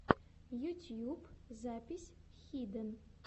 ютьюб запись хиден